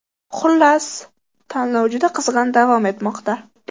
Xullas, tanlov juda qizg‘in davom etmoqda.